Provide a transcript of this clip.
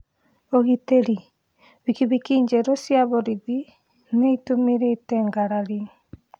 Ugitĩri: Bikibiki njerũ cia borithi nĩitumũrĩte ngarari